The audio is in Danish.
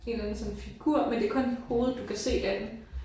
En eller anden sådan figur men det kun hovedet du kan se af den